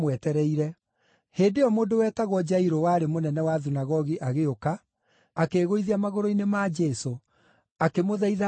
Hĩndĩ ĩyo mũndũ wetagwo Jairũ warĩ mũnene wa thunagogi agĩũka, akĩĩgũithia magũrũ-inĩ ma Jesũ, akĩmũthaitha athiĩ gwake,